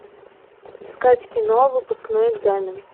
искать кино выпускной экзамен